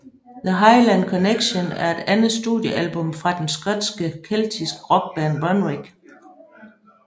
The Highland Connection er det andet studiealbum fra den skotske keltiske rockband Runrig